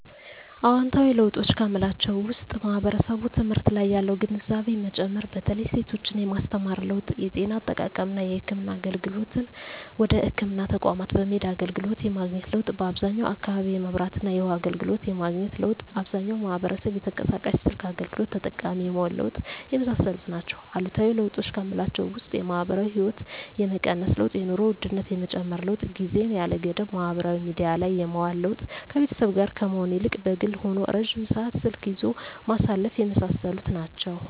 አዎንታዊ ለውጦች ከምላቸው ውስጥ ማህበረሰቡ ትምህርት ላይ ያለው ግንዛቤ መጨመር በተለይ ሴቶችን የማስተማር ለውጥ የጤና አጠባበቅና የህክምና አገልግሎትን ወደ ህክምና ተቋማት በመሄድ አገልግሎት የማግኘት ለውጥ በአብዛኛው አካባቢ የመብራትና የውሀ አገልግሎት የማግኘት ለውጥ አብዛኛው ማህበረሰብ የተንቀሳቃሽ ስልክ አገልግሎት ተጠቃሚ የመሆን ለውጥ የመሳሰሉት ናቸው። አሉታዊ ለውጦች ከምላቸው ውስጥ የማህበራዊ ህይወት የመቀነስ ለውጥ የኑሮ ውድነት የመጨመር ለውጥ ጊዜን ያለ ገደብ ማህበራዊ ሚዲያ ላይ የማዋል ለውጥ ከቤተሰብ ጋር ከመሆን ይልቅ በግል ሆኖ ረጅም ሰዓት ስልክ ይዞ ማሳለፍ የመሳሰሉት ናቸው።